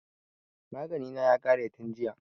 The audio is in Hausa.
Magani na ya ƙare tin jiya